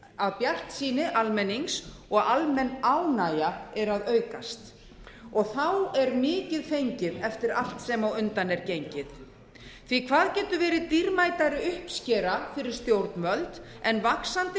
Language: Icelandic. að bjartsýni almennings og almenn ánægja eru að aukast og þá er mikið fengið eftir allt sem á undan er gengið því að hvað getur verið dýrmætari uppskera fyrir stjórnvöld en vaxandi